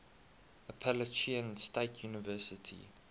appalachian state university